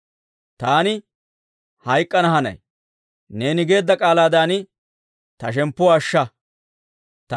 Taani hayk'k'ana hanay; neeni geedda k'aalaadan ta shemppuwaa ashsha.